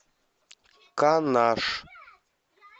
канаш